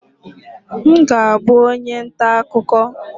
M ga-abụ onye nta akụkọ